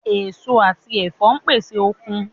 Èso àti ẹ̀fọ́ pèsè okun